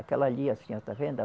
Aquela ali, a senhora está vendo?